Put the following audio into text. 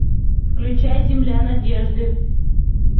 включай земля надежды